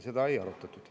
Seda ei arutatud.